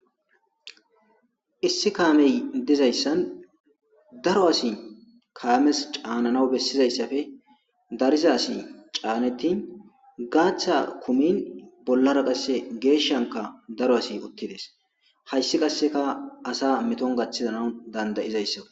issi kaamey dizayssan daro asi kaames caananaw bessizayssafe dariza asi caanettin gaaththa kumin bollara qasse geeshshanka daro asi utides hayssi qasseka asa meton gaththizana danda'izayssa